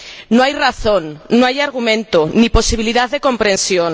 No hay razón, no hay argumento, ni posibilidad de comprensión.